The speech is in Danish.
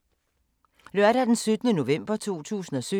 Lørdag d. 11. november 2017